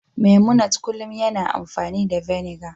memunant kullum yana amfani da vinegar